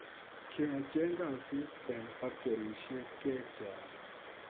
Kiacheeng kasiit eng factorisiek chechaang